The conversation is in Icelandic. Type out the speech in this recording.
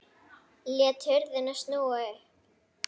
Lét hurðina snúa upp.